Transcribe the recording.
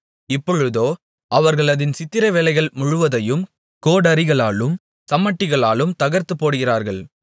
இப்பொழுதோ அவர்கள் அதின் சித்திரவேலைகள் முழுவதையும் கோடரிகளாலும் சம்மட்டிகளாலும் தகர்த்துப்போடுகிறார்கள்